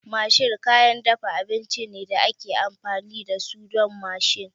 Masher kayan dafa abinci ne da ake amfani da su don mashing